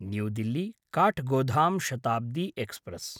new Delhi Kathgodam Shatabdi express